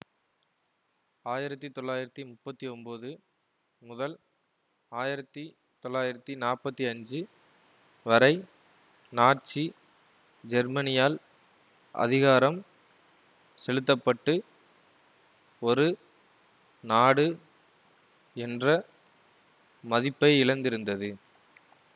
ஆயிரத்தி தொள்ளாயிரத்தி முப்பத்தி ஒன்போது முதல் ஆயிரத்தி தொள்ளாயிரத்தி நாற்பத்தி அஞ்சு வரை நாட்சி ஜெர்மனியால் அதிகாரம் செலுத்த பட்டு ஒரு நாடு என்ற மதிப்பையிழந்திருந்தது